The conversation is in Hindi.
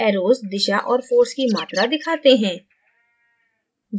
arrows दिशा और force की मात्रा दिखाते हैं